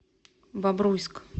бобруйск